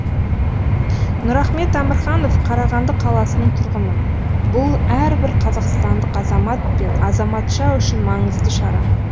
нұрахмет әмірханов қарағанды қаласының тұрғыны бұл әрбір қазақстандық азамат пен азаматша үшін маңызды шара